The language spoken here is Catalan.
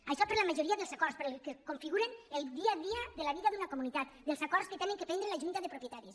això per a la majoria dels acords per als que configuren el dia a dia de la vida d’una comunitat dels acords que ha de prendre la junta de propietaris